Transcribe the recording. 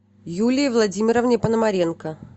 юлии владимировне пономаренко